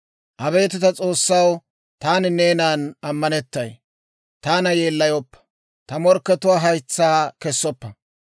Abeet ta S'oossaw, taani neenan ammanettay; taana yeellayoppa; ta morkkatuwaa haytsaa kessoppa.